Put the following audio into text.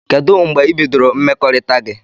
Kedu mgbe ibidoro mmekọrita gi?